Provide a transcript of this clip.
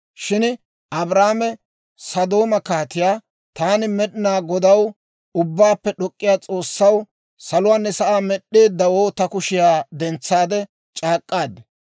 Shin Abraame Sodooma kaatiyaa, «Taani Med'inaa Godaw, Ubbaappe D'ok'k'iyaa S'oossaw, saluwaanne sa'aa med'd'eddawoo, ta kushiyaa dentsaade c'aak'k'aad.